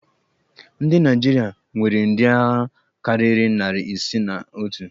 Ndị naịjirịa nwere ndị agha karịrị nari isii na otu